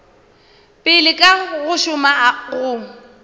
pele ka go šoma go